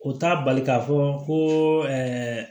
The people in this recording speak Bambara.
O t'a bali k'a fɔ ko